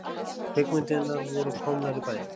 Kvikmyndirnar voru komnar í bæinn.